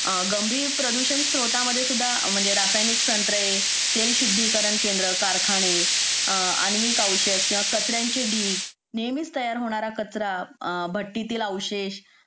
गंभीर प्रदूषण स्त्रोत मध्ये सुद्धा रासायनिक संत्रे तेल शुद्धीकरण केंद्रे कारखाने आण्विक औषध किंवा कचऱ्यांचे ढीग नेहमीच तयार होणारा कचरा भट्टीतील अवशेष